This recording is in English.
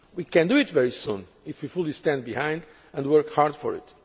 We can do it very soon if we fully stand behind it and work hard for